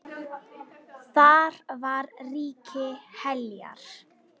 Þar var ríki Heljar.